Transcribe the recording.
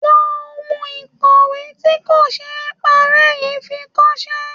Lo ohun ìkọ̀wé tí kò ṣe é parẹ́ yìí fi kọṣẹ́.